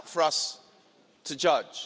That's not for us to judge.